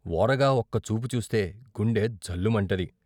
వోరగా ఒక్క చూపు చూస్తే గుండె జల్లుమంటది.